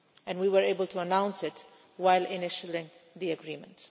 We were able to announce it while initiating the agreement.